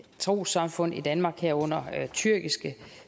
trossamfund i danmark herunder tyrkiske